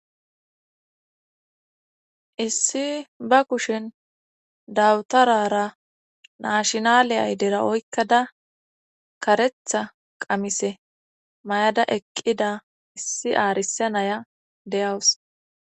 issi ba kushin dawutarara naashinaliyay ayidera oykkada karetha qamise may7ada eqqida issi aarise naya deyawus